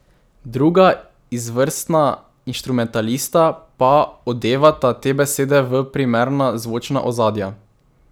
Druga izvrstna inštrumentalista pa odevata te besede v primerna zvočna ozadja.